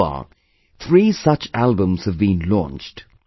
So far, three such albums have been launched